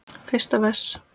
Fyrsta vers.